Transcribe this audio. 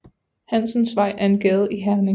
Hansens Vej er en gade i Herning